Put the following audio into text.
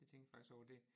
Jeg tænkte faktisk over det